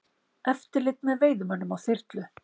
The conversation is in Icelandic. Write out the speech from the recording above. Eftirlit með veiðimönnum á þyrlu